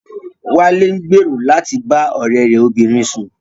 Wálé ń gbèrò láti bá ọ̀rẹ́ rẹ̀ obìnrin sùn